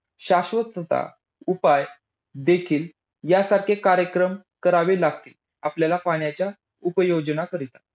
शाश्वतता, उपाय देखील. यांसारखे कार्यक्रम करावे लागतील. आपल्याला पाण्याच्या उपयोजना करिता.